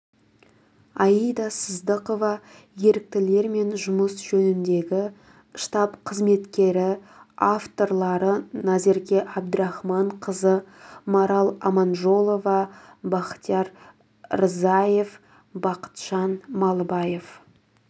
аида сыздықова еріктілермен жұмыс жөніндегі штаб қызметкері авторлары назерке әбдірахманқызы марал аманжолова бахтияр рзаев бақытжан малыбаев